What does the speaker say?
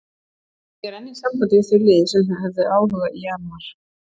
Ég er enn í sambandi við þau lið sem að höfðu áhuga í janúar.